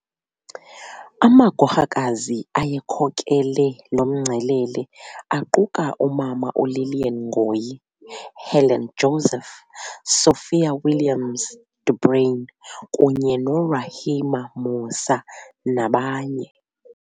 Amagorhakazi awayekhokele lomngcelele aquka u Mama u Lilian Ngoyi, Helen Joseph, Sophia Williams- De Bruyn kunye no Rahima Moosa nabanye.